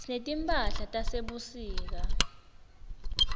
sinetimphahlatase sebusika